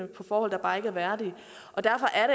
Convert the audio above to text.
på forhold der bare ikke er værdige derfor er